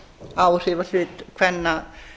áhrif á hlut kvenna